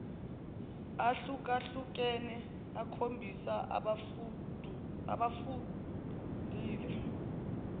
ahlukahlukene okhombisa abakufundile